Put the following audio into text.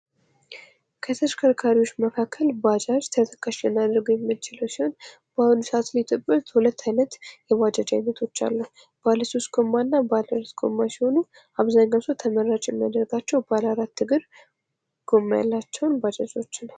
ከተሽከርካሪዎች መካከል ባጃጅ ተጠቃሽ የሚችሉ ሲሆን፤ በአሁኑ ሰዓት በኢትዮጵያ ውስጥ ሁለት ዓይነት የባጃጅ ዓይነቶች አሉ። ባለ ሶስት ጎማ እና በ ሁለት ጎማ ሲሆኑ አብዛኞቹ ተመራጭ የሚያደርጋቸው ባለ አራት እግር ጎማ ባጃጆችን ነው።